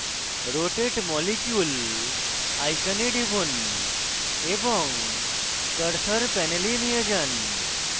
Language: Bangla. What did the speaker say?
rotate molecule icon টিপুন এবং cursor panel নিয়ে যান